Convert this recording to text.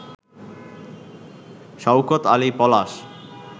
Shawkat Ali Palash